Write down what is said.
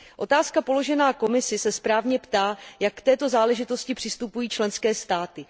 Otázka položená Komisi se správně ptá, jak k této záležitosti přistupují členské státy.